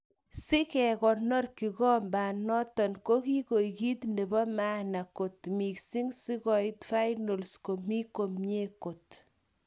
Sikekonor kigomanoton ko iko kit nepo maana kot missing, sikoit finals komi komie kot.